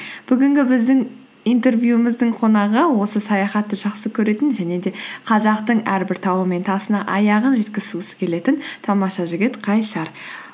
бүгінгі біздің интервьюіміздің қонағы осы саяхатты жақсы көретін және де қазақтың әрбір тауы мен тасына аяғын жеткізгісі келетін тамаша жігіт қайсар